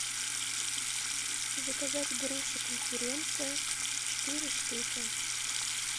заказать груши конференция четыре штуки